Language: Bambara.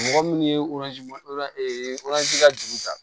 Mɔgɔ minnu ye ka juru ta